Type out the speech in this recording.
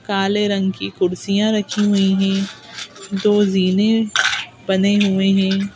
काले रंग की कुर्सियां रखी हुई हैं दो जीने बने हुए हैं।